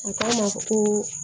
A k'a ma koo